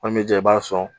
Komi i b'a sɔn